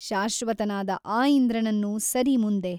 ಶಾಶ್ವತನಾದ ಆ ಇಂದ್ರನನ್ನು ಸರಿ ಮುಂದೆ?